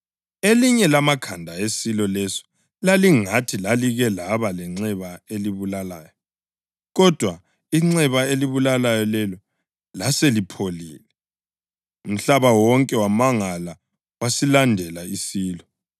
Elinye lamakhanda esilo leso lalingathi lalike laba lenxeba elibulalayo, kodwa inxeba elibulalayo lelo laselipholile. Umhlaba wonke wamangala wasilandela isilo.